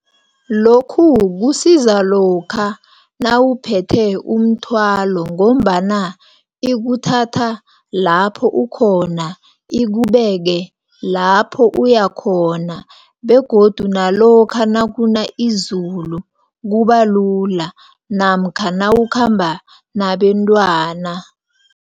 Lokhu kusiza lokha, nawuphethe umthwalo, ngombana ikuthatha lapho ukhona, ikubeke lapho uyakhona, begodu nalokha nakuna izulu, kubalula, namkha nawukhamba nabentwana.